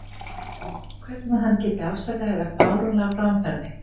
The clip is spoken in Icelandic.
Hvernig hann geti afsakað þetta fáránlega framferði.